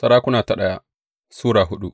daya Sarakuna Sura hudu